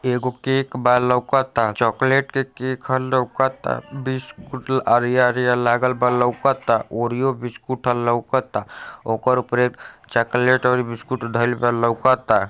ये एगो केक बा लाऊकता। चॉकलेट के केक ह लाऊकता। बिस्कुट आरिया आरिया लागल बा लाऊकता। ओरियो बिस्कुट ह लाऊकता। ओकरे ऊपर चॉकलेट ओर बिस्कुट धाइल बा लाऊकता ।